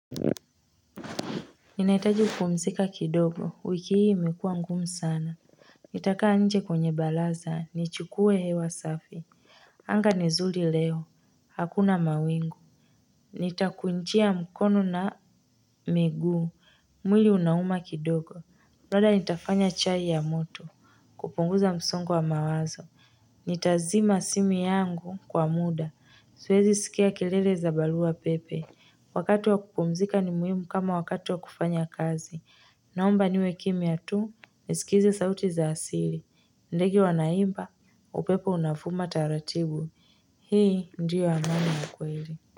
Ninahitaji kupumzika kidogo wiki hii imekuwa ngumu sana Nitakaa nje kwenye baraza nichukuwe hewa safi Anga ni zuri leo hakuna mawingu Nitakunjia mkono na miguu mwili unauma kidogo labda nitafanya chai ya moto kupunguza msongo wa mawazo Nitazima simu yangu kwa muda siwezi sikia kelele za barua pepe wakati wa kupumzika ni muhimu kama wakati wa kufanya kazi naomba niwe kimya tu nisikize sauti za asili ndege wanaimba upepo unavuma taratibu hii ndiyo amani ya kweli.